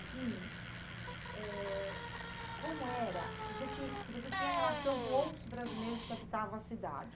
Eh... Como era, se você tinha, se você tinha relação com outros brasileiros que habitavam a cidade.